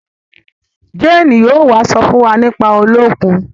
Jane yóò wá so fún wá nípa Oluokun